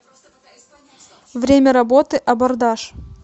время работы абордаж